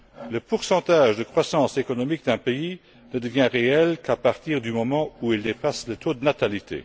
Le taux de croissance économique d'un pays ne devient réel qu'à partir du moment où il dépasse le taux de natalité.